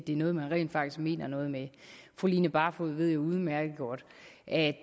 er noget man mener noget med fru line barfod ved jo udmærket godt at